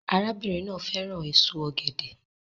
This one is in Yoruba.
Arábìnrin náà fẹ́ràn èso ọ̀gẹ̀dẹ̀